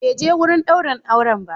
Bai je wurin daurin auren ba.